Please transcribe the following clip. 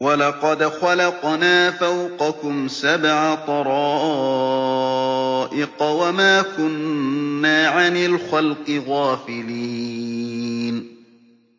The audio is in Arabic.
وَلَقَدْ خَلَقْنَا فَوْقَكُمْ سَبْعَ طَرَائِقَ وَمَا كُنَّا عَنِ الْخَلْقِ غَافِلِينَ